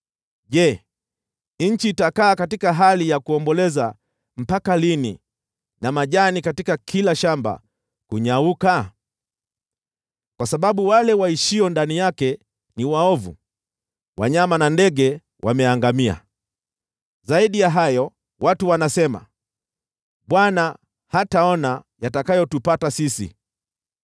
Je, nchi itakaa katika hali ya kuomboleza mpaka lini, na majani katika kila shamba kunyauka? Kwa sababu wale waishio ndani yake ni waovu, wanyama na ndege wameangamia. Zaidi ya hayo, watu wanasema, “ Bwana hataona yatakayotupata sisi.”